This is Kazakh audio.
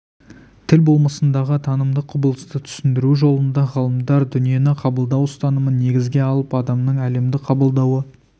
тіл болмысындағы танымдық құбылысты түсіндіру жолында ғалымдар дүниені қабылдау ұстанымын негізге алып адамның әлемді қабылдауы арқылы сыртқы дүниеге